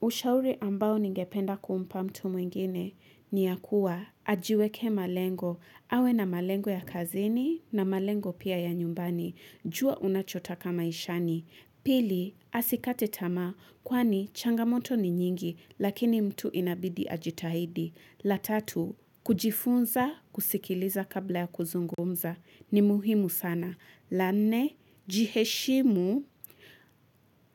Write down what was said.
Ushauri ambao ningependa kumpa mtu mwingine ni ya kuwa ajiweke malengo. Awe na malengo ya kazini na malengo pia ya nyumbani. Jua unachotoka maishani. Pili, asikate tamaa kwani changamoto ni nyingi lakini mtu inabidi ajitahidi. La tatu, kujifunza kusikiliza kabla ya kuzungumza ni muhimu sana. La nne, jiheshimu